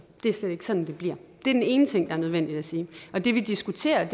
det er slet ikke sådan det bliver det er den ene ting der er nødvendig at sige det vi diskuterer